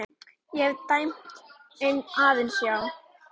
Ég hef dæmt aðeins já.